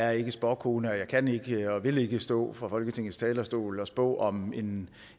er ikke spåkone og jeg kan ikke og vil ikke stå på folketingets talerstol og spå om en